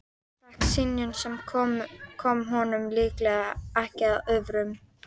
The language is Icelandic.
Hann fékk synjun, sem kom honum líklega ekki að óvörum.